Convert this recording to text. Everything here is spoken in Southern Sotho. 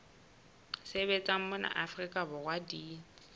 sebetsang mona afrika borwa di